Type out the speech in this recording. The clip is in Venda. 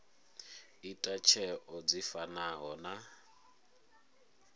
ita tsheo dzi fanaho na